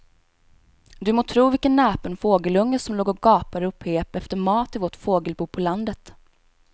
Du må tro vilken näpen fågelunge som låg och gapade och pep efter mat i vårt fågelbo på landet.